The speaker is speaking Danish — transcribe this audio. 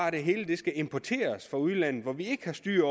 at det hele skal importeres fra udlandet hvor vi ikke har styr